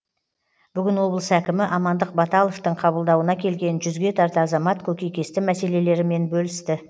бүгін облыс әкімі амандық баталовтың қабылдауына келген жүзге тарта азамат көкейкесті мәселелерімен бөлісті